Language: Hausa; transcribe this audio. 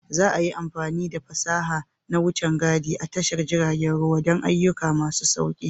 Za a yi amfani da fasaha na wucin gadi a tashar jiragen ruwa don ayyuka masu sauƙi.